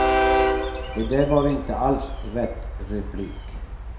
Det där var inte alls rätt replik.